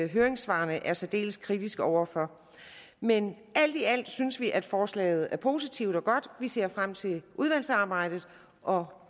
høringssvarene er særdeles kritiske over for men alt i alt synes vi at forslaget er positivt og godt vi ser frem til udvalgsarbejdet og